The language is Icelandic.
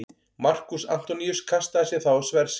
Markús Antoníus kastaði sér þá á sverð sitt.